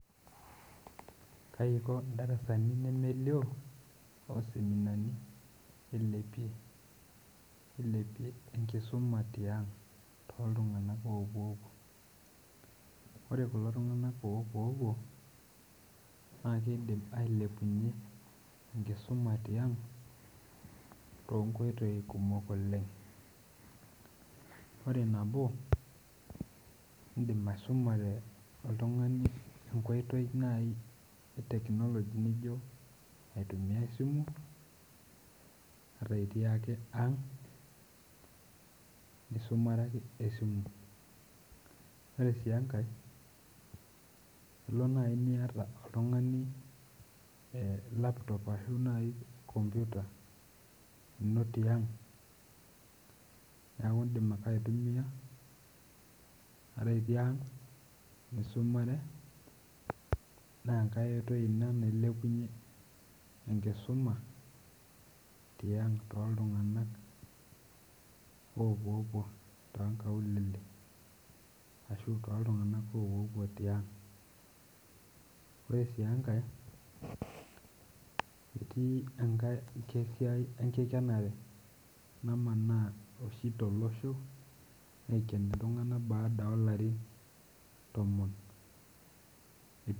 Kaiko ndarasani nemelio oseminani ilepie eilepie tenkisuma tiang tooiltung'anak oopuo puo, ore kulo tung'anak opuo puo naa keidim alepunyie enkisuma tiang' toonkoitoi kumok oleng' oree naboo iindim aisumare oltung'ani enkoitoi naii ee teknologia najo aitumia esimu ata itii ake ang' isumare ake esimu, ore sii enkae ilo nayii niyata oltung'ani laptop arashu computer inoo tiang' neeku iidim ake aitumia at itii ang'a aisumare naa enkar oitoi ina nailepunyie enkisuma tiaang' tooltung'anak opuopuo too nkaulele arashu tooltung'anak opuopuo tiaang',oree sii enkae atii ake enkae siai enkikenare namanaa oshii tolosho aeiken iltung'anak baadaa oo larin tomon.